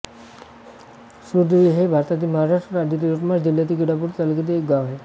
सुरदेवी हे भारतातील महाराष्ट्र राज्यातील यवतमाळ जिल्ह्यातील केळापूर तालुक्यातील एक गाव आहे